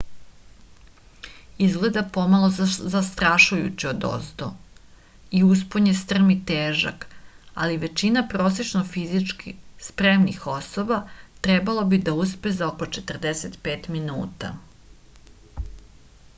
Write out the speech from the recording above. izgleda pomalo zastrašujuće odozdo i uspon je strm i težak ali većina prosečno fizički spremnih osoba trebalo bi da uspe za oko 45 minuta